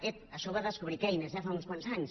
ep això ho va descobrir keynes eh fa uns quants anys